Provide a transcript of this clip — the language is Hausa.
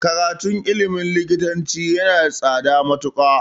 Karatun ilmin likitanci yana da tsada matuƙa